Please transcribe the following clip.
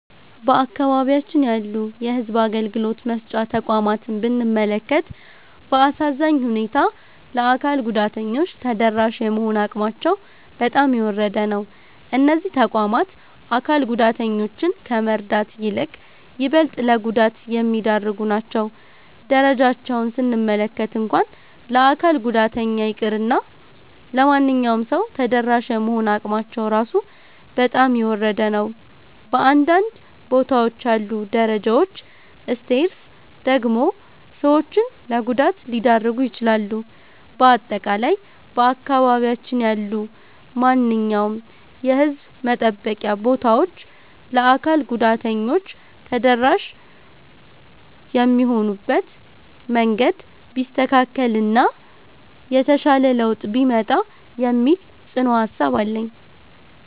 በአካባቢያችን ያሉ የሕዝብ አገልግሎት መስጫ ተቋማትን ብንመለከት፣ በአሳዛኝ ሁኔታ ለአካል ጉዳተኞች ተደራሽ የመሆን አቅማቸው በጣም የወረደ ነው። እነዚህ ተቋማት አካል ጉዳተኞችን ከመርዳት ይልቅ ይበልጥ ለጉዳት የሚዳርጉ ናቸው። ደረጃቸውን ስንመለከት እንኳን ለአካል ጉዳተኛ ይቅርና ለማንኛውም ሰው ተደራሽ የመሆን አቅማቸው ራሱ በጣም የወረደ ነው። በአንዳንድ ቦታዎች ያሉት ደረጃዎች (Stairs) ደግሞ ሰዎችን ለጉዳት ሊዳርጉ ይችላሉ። በአጠቃላይ በአካባቢያችን ያሉ ማንኛውም የሕዝብ መጠበቂያ ቦታዎች ለአካል ጉዳተኞች ተደራሽ የሚሆኑበት መንገድ ቢስተካከል እና የተሻለ ለውጥ ቢመጣ የሚል ጽኑ ሃሳብ አለኝ።